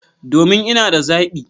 Domin! Ina da zabi